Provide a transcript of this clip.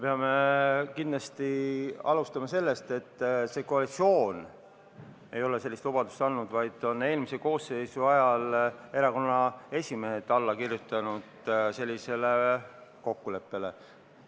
Peame kindlasti alustama sellest, et see koalitsioon ei ole sellist lubadust andnud, vaid eelmise koosseisu ajal kirjutasid erakonnaesimehed sellisele kokkuleppele alla.